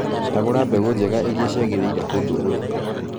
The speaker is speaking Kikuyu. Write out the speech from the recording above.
Cagũra mbegũ njega iria ciagĩrĩire kũndũ urĩ.